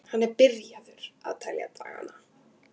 Hann er byrjaður að telja dagana.